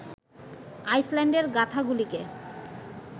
আইসল্যান্ডের গাথাগুলিকে